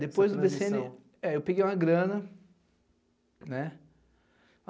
Depois do bê cê ene, é eu peguei uma grana, né?